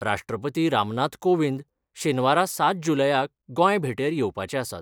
राश्ट्रपती रामनाथ कोविंद शेनवारा सात जुलयाक गोंय भेटेर येवपाचे आसात.